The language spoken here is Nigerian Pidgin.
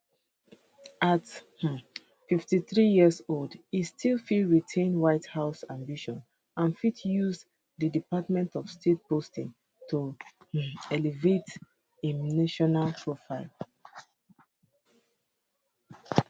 at um 53 years old e still fit retain white house ambitions and fit use di department of state posting to um elevate im national profile